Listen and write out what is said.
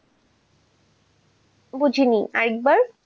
বুঝিনি আর একবার,